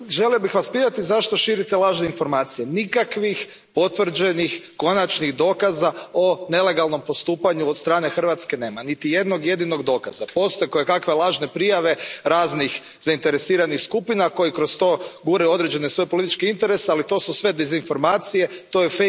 Poštovani predsjedavajući, želio bih Vas pitati zašto širite lažne informacije. Nikakvih potvrđenih, konačnih dokaza o nelegalnom postupanju od strane Hrvatske nema, niti jednog jedinog dokaza. Postoje kojekakve lažne prijave raznih zainteresiranih skupina koje kroz to guraju svoje političke interese, ali to su sve dezinformacije, to je